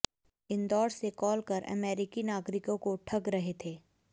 इंदौर से कॉल कर अमेरिकी नागरिकों को ठग रहे थे